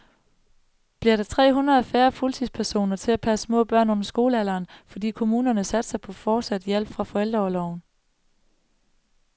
Bliver der tre hundrede færre fuldtidspersoner til at passe små børn under skolealderen, fordi kommunerne satser på fortsat hjælp fra forældreorloven.